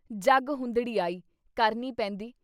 “ਜੱਗ ਹੁੰਦੜੀ ਆਈ!” ਕਰਨੀ ਪੈਂਦੀ।